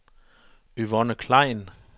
Yvonne Klein